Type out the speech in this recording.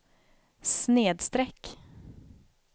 snedsträck